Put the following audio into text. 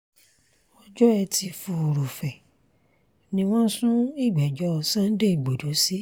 ọjọ́ etí furuufee ni wọ́n sún ìgbẹ́jọ́ sunday igbodò sí